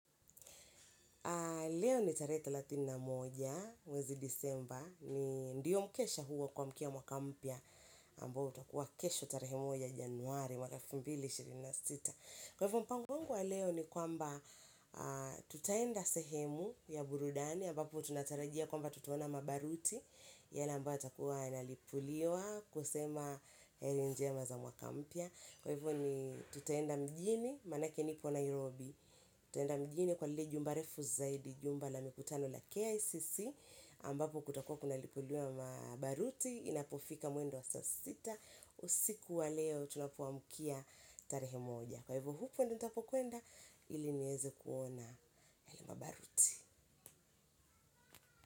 Leo ni tarehe thelathini na moja, mwezi disemba, ni ndiyo mkesha huu wa kuamkia mwaka mpya, ambao utakuwa kesho tarehe moja januari elfu moja na mia mbili na ishirini na sita. Kwa hivyo mpango wangu wa leo ni kwamba tutaenda sehemu ya burudani, ambapo tunatarajia kwamba tutaona mabaruti, yana ambayo yatakuwa yanalipuliwa kusema heli njema za mwaka mpya. Kwa hivyo ni tutaenda mjini, manake niko Nairobi. Tutaenda mjini kwa lile jumba refu zaidi jumba la mikutano la KICC Ambapo kutakuwa kuna lipuliwa mabaruti inapofika mwendo wa saa sita usiku wa leo tunapoamkia tarehe moja. Kwa hivyo hupo nitapokwenda ili nieze kuona mabaruti.